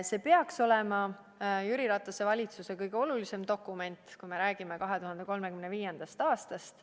See peaks olema Jüri Ratase valitsuse kõige olulisem dokument, kui me räägime 2035. aastast.